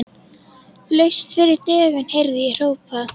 Laust fyrir dögun heyrði ég hrópað.